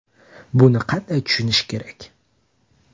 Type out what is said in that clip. Buni qanday tushunish kerak?